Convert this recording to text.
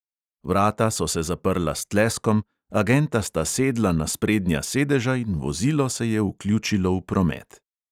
Vrata so se zaprla s tleskom, agenta sta sedla na sprednja sedeža in vozilo se je vključilo v promet.